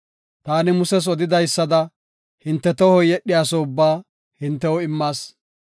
Taani Muses odidaysada, hinte tohoy yedhiyaso ubba hintew immas.